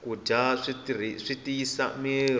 ku dya swi tiyisa mirhi